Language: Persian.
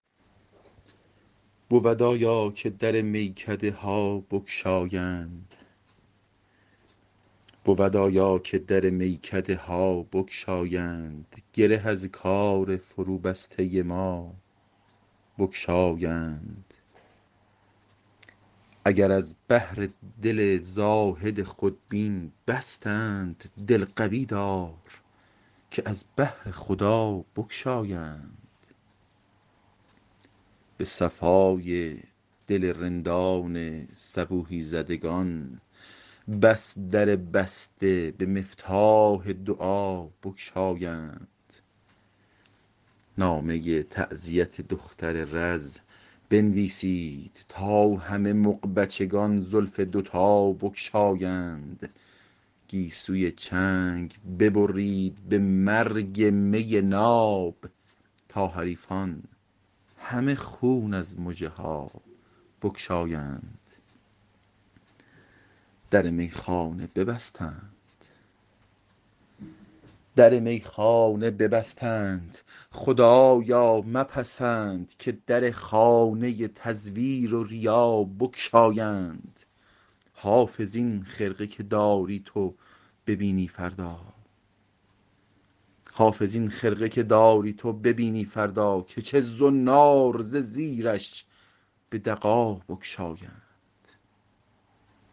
بود آیا که در میکده ها بگشایند گره از کار فروبسته ما بگشایند اگر از بهر دل زاهد خودبین بستند دل قوی دار که از بهر خدا بگشایند به صفای دل رندان صبوحی زدگان بس در بسته به مفتاح دعا بگشایند نامه تعزیت دختر رز بنویسید تا همه مغبچگان زلف دوتا بگشایند گیسوی چنگ ببرید به مرگ می ناب تا حریفان همه خون از مژه ها بگشایند در میخانه ببستند خدایا مپسند که در خانه تزویر و ریا بگشایند حافظ این خرقه که داری تو ببینی فردا که چه زنار ز زیرش به دغا بگشایند